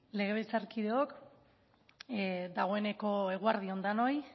legebiltzarkideok dagoeneko eguerdi on denoi